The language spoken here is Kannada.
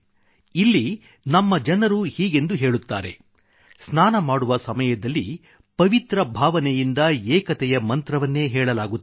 ಇಲ್ಲಿ ನಮ್ಮ ಜನರು ಹೀಗೆಂದು ಹೇಳುತ್ತಾರೆ ಸ್ನಾನ ಮಾಡುವ ಸಮಯದಲ್ಲಿ ಪವಿತ್ರ ಭಾವನೆಯಿಂದ ಏಕತೆಯ ಮಂತ್ರವನ್ನೇ ಹೇಳಲಾಗುತ್ತದೆ